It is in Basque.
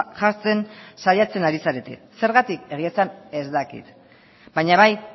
jartzen saiatzen ari zarete zergatik egia esan ez dakit baina bai